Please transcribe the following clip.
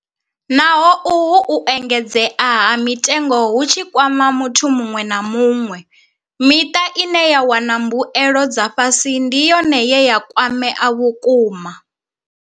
Naho uhu u engedzea ha mitengo hu tshi kwama muthu muṅwe na muṅwe, miṱa ine ya wana mbuelo dza fhasi ndi yone ye ya kwamea vhukuma.